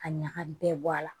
Ka ɲaga bɛɛ bɔ a la